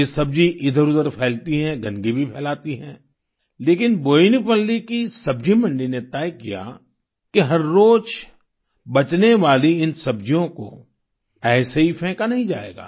ये सब्जी इधरउधर फैलती है गंदगी भी फैलाती हैं लेकिन बोयिनपल्ली की सब्जी मंडी ने तय किया कि हर रोज बचने वाली इन सब्जियों को ऐसे ही फेंका नहीं जाएगा